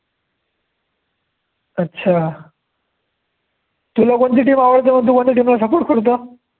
अच्छा. तुला कोणची team आवडते, मग तु कोणती team ला support करतो.